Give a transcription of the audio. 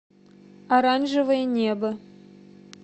оранжевое небо